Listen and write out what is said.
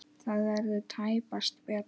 Það verður tæpast betra.